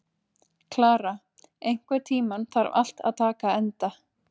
Klara, einhvern tímann þarf allt að taka enda.